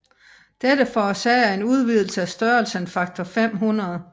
Dette forårsager en udvidelse af størrelsen faktor 500